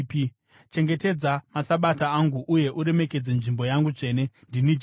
“ ‘Chengetedza maSabata angu uye uremekedze nzvimbo yangu tsvene. Ndini Jehovha.